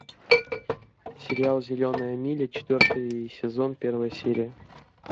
сериал зеленая миля четвертый сезон первая серия